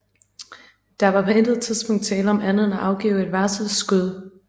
Der var på intet tidspunkt tale om andet end at afgive et varselsskud